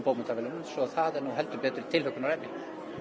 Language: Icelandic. svo það er heldur betur tilhlökkunarefni